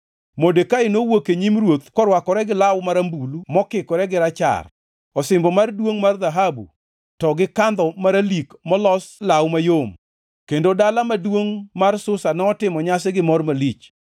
Modekai nowuok e nyim ruoth korwakore gi law marambulu mokikore gi rachar, osimbo mar duongʼ mar dhahabu, to gi kandho maralik molos law mayom. Kendo dala maduongʼ mar Susa notimo nyasi gi mor malich.